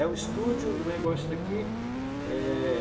É um estúdio, um negócio daqui. É...